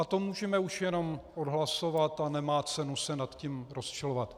A to můžeme už jenom odhlasovat a nemá cenu se nad tím rozčilovat.